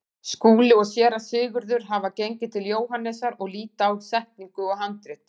Skúli og Séra Sigurður hafa gengið til Jóhannesar og líta á setningu og handrit.